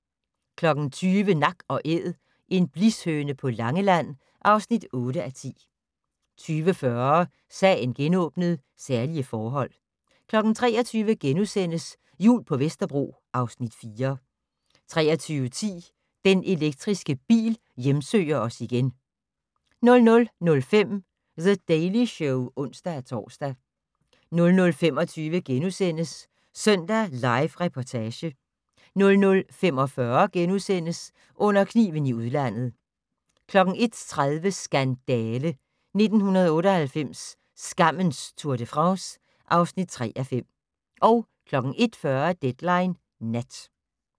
20:00: Nak & Æd - en blishøne på Langeland (8:10) 20:40: Sagen genåbnet: Særlige forhold 23:00: Jul på Vesterbro (Afs. 4)* 23:10: Den elektriske bil hjemsøger os igen 00:05: The Daily Show (ons-tor) 00:25: Søndag Live Reportage * 00:45: Under kniven i udlandet * 01:30: Skandale! - 1998, skammens Tour de France (3:5) 01:40: Deadline Nat